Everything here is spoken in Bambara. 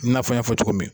I n'a fɔ n y'a fɔ cogo min